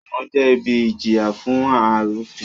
Ẹ̀wọ̀n jẹ́ ibi ìjìyà fún arúfin